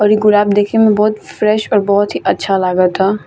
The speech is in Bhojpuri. और इ गुलाब देखे में बहुत फ्रेश और बहुत ही अच्छा लगाता।